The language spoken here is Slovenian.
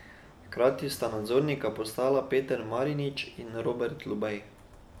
Hkrati sta nadzornika postala Peter Marinič in Robert Lubej.